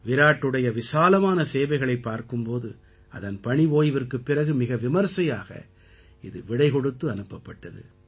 விராட்டுடைய விசாலமான சேவைகளைப் பார்க்கும் போது அதன் பணி ஓய்விற்குப் பிறகு மிக விமரிசையாக இது விடை கொடுத்து அனுப்பப்பட்டது